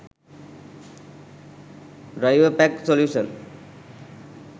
driverpack solution